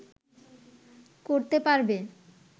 করতে পারবে